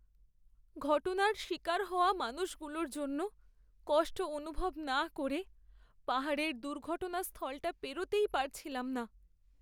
ঘটনার শিকার হওয়া মানুষগুলোর জন্য কষ্ট অনুভব না করে পাহাড়ের দুর্ঘটনাস্থলটা পেরোতেই পারছিলাম না।